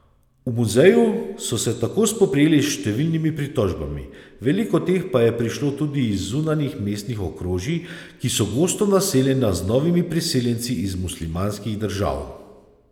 V muzeju so se tako spoprijeli s številnimi pritožbami, veliko teh pa je prišlo tudi iz zunanjih mestnih okrožij, ki so gosto naseljena z novimi priseljenci iz muslimanskih držav.